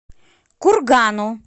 кургану